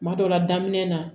Kuma dɔ la daminɛ na